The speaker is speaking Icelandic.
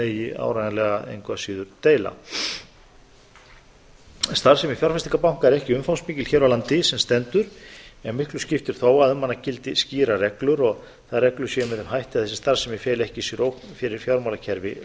megi áreiðanlega engu að síður deila starfsemi fjárfestingarbanka er ekki umfangsmikil hér á landi sem stendur en miklu skiptir þó að um hana gildi skýrar reglur og þær reglur séu með þeim hætti að þessi starfsemi feli ekki í sér ógn fyrir fjármálakerfi